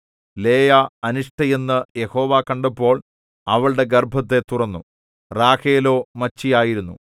ലേയാ അനിഷ്ടയെന്നു യഹോവ കണ്ടപ്പോൾ അവളുടെ ഗർഭത്തെ തുറന്നു റാഹേലോ മച്ചിയായിരുന്നു